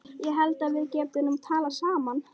Ég held að við getum nú talað saman!